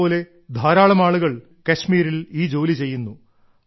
ഇയാളെപ്പോലെ ധാരാളം ആളുകൾ കശ്മീരിൽ ഈ ജോലി ചെയ്യുന്നു